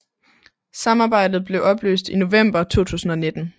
Samarbejdet blev opløst i november 2019